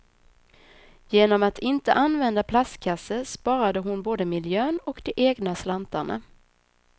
Genom att inte använda plastkasse sparade hon både miljön och de egna slantarna.